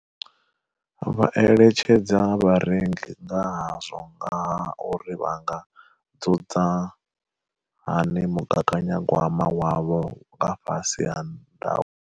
Vha eletshedza vharengi nga hazwo nga ha uri vha nga dzudza hani mugaganyagwama wavho nga fhasi ha ndau.